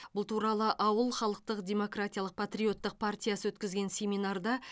бұл туралы ауыл халықтық демократиялық патриоттық партиясы өткізген семинарда